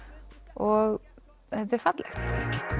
og þetta er fallegt